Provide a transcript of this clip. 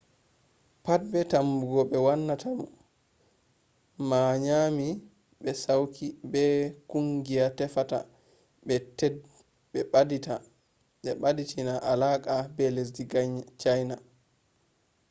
pat be tumugo be wannata mo ma nyami be sauki be kungiya tefata ɓe ɓaditina alaka be lesdi cayna